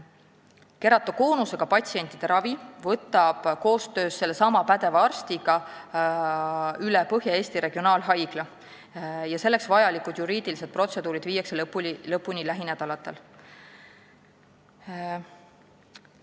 Keratokoonusega patsientide ravi võtab koostöös sellesama pädeva arstiga üle Põhja-Eesti Regionaalhaigla ja selleks vajalikud juriidilised protseduurid viiakse lõpuni lähinädalatel.